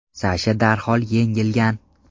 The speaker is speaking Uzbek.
Sasha darhol yengilgan.